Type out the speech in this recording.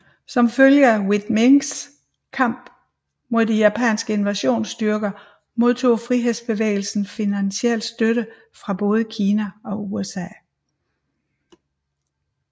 Som følge af Viet Minhs kamp mod de japanske invasionsstyrker modtog frihedsbevægelsen finansiel støtte fra både Kina og USA